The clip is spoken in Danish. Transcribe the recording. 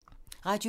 Radio 4